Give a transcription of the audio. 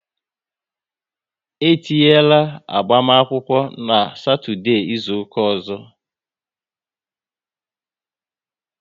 E tinyera agbamakwụkwọ n' Satọdee izuka ọzọ